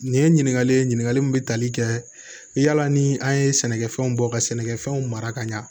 Nin ye ɲininkali ye ɲininkali min bɛ tali kɛ yala ni an ye sɛnɛkɛfɛnw bɔ ka sɛnɛkɛfɛnw mara ka ɲa